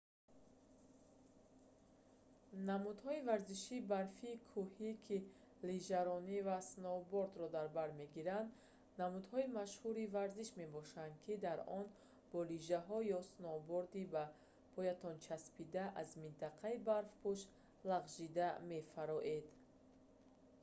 намудҳои варзиши барфии кӯҳӣ ки лижаронӣ ва сноубордро дар бар мегиранд намудҳои машҳури варзиш мебошанд ки дар он бо лижаҳо ё сноуборди ба поятон часпида аз минтақаи барфпӯш лағжида мефароед